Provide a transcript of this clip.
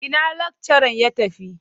Ina lakcharan ya tafi?